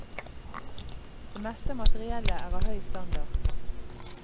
Det meste av materiellet er av høy standard.